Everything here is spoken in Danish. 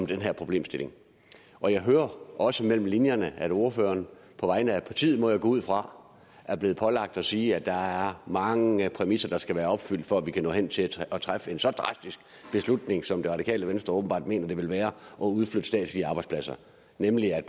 den her problemstilling og jeg hører også mellem linjerne at ordføreren på vegne af partiet må jeg gå ud fra er blevet pålagt at sige at der er mange præmisser der skal være opfyldt for at man kan nå hen til at træffe en så drastisk beslutning som det radikale venstre åbenbart mener det vil være at udflytte statslige arbejdspladser nemlig at